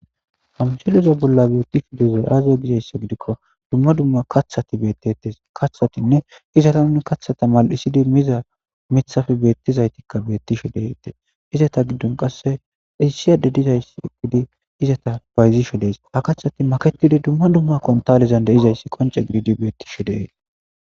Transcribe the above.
Hamshiloza bolla beettishu deza aaza gizayssa gidikko dumma dumma kathati bettetes kaththatinne izata nuni kathata mal7isidi miza mithafe beettizaytikka bettisho detee izata giddon qasse issiyade dizayss gidi izata bayzisho dees ha kathati maketidi dumma dumma kontaalezan deizayssi qonce gididi bettishu deees.